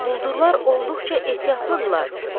Quldurlar olduqca ehtiyatlıdırlar.